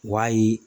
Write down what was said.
Wayi